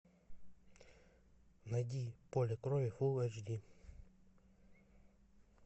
найди поле крови фул эйч ди